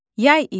Yay idi.